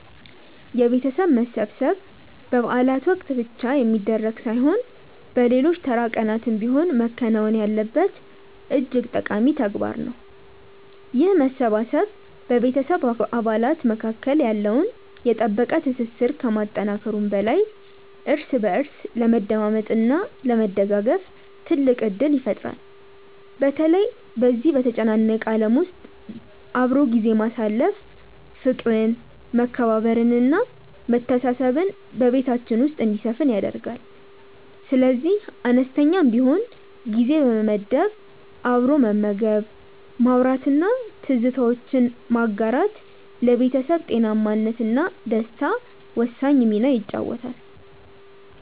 የቤተሰብ መሰብሰብ በበዓላት ወቅት ብቻ የሚደረግ ሳይሆን በሌሎች ተራ ቀናትም ቢሆን መከናወን ያለበት እጅግ ጠቃሚ ተግባር ነው። ይህ መሰባሰብ በቤተሰብ አባላት መካከል ያለውን የጠበቀ ትስስር ከማጠናከሩም በላይ እርስ በእርስ ለመደማመጥ እና ለመደጋገፍ ትልቅ ዕድል ይፈጥራል። በተለይ በዚህ በተጨናነቀ ዓለም ውስጥ አብሮ ጊዜ ማሳለፍ ፍቅርን መከባበርን እና መተሳሰብን በቤታችን ውስጥ እንዲሰፍን ያደርጋል። ስለዚህ አነስተኛም ቢሆን ጊዜ በመመደብ አብሮ መመገብ ማውራት እና ትዝታዎችን ማጋራት ለቤተሰብ ጤናማነት እና ደስታ ወሳኝ ሚና ይጫወታል